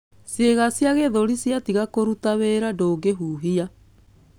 Ciĩga cia gĩthũri ciatiga kũruta wĩra ndũngĩhuhia.